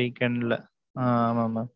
weekend ல, அ ஆமா mam.